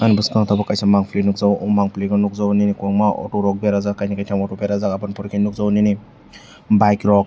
Ani bwskango tabuk kaisa mampli nukjago aw mampli nukjago kwbangma auto rok berajak kaini kaitam auto berajak amoni pore ke tai nhkjano nini bike rok.